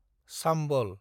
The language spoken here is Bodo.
चाम्बल